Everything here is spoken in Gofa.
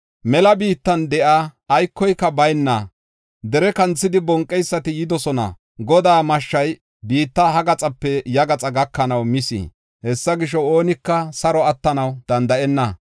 Mela biittan de7iya aykoka bayna dere kanthidi, bonqeysati yidosona. Godaa mashshay biitta ha gaxape ya gaxaa gakanaw mis. Hessa gisho, oonika saro attanaw danda7enna.